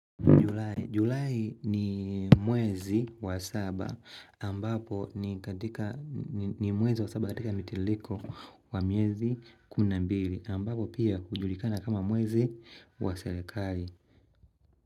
Julai ni mwezi wa saba ambapo ni mwezi wa saba katika mitiliko wa miezi kumi na mbili ambapo pia kujulikana kama mwezi wa serekari.